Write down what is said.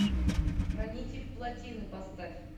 хранитель плотины поставь